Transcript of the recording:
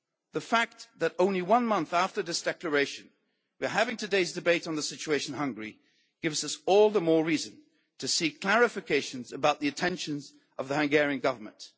Brussels? The fact that only one month after this Declaration we are having today's debate on the situation in Hungary gives us all the more reason to seek clarifications about the intentions of the Hungarian Government.